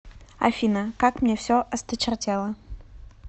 афина как мне все осточертело